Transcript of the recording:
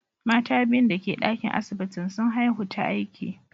Mata biyun dake dakin asibitin, sun haihu ta aiki.